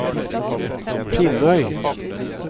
Finnøy